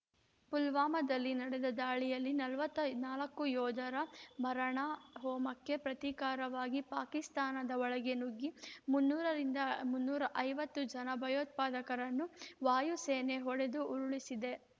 ಫುಲ್ವಾಮದಲ್ಲಿ ನಡೆದ ದಾಳಿಯಲ್ಲಿ ನಲವತ್ತ ನಾಲ್ಕು ಯೋಧರ ಮಾರಣ ಹೋಮಕ್ಕೆ ಪ್ರತೀಕಾರವಾಗಿ ಪಾಕಿಸ್ತಾನದ ಒಳಗೆ ನುಗ್ಗಿ ಮುನ್ನೂರರಿಂದ ಮುನ್ನೂರ ಐವತ್ತು ಜನ ಭಯೋತ್ಪದಕರನ್ನು ವಾಯುಸೇನೆ ಹೊಡೆದು ಉರುಳಿಸಿದೆ